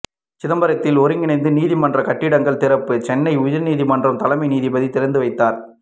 சிதம்பரத்தில் ஒருங்கிணைந்த நீதிமன்ற கட்டிடங்கள் திறப்பு சென்னை உயர்நீதிமன்ற தலைமை நீதிபதி திறந்து வைத்தார்